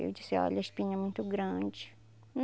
Eu disse, olha, a espinha é muito grande.